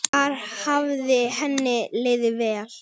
Þar hafði henni liðið vel.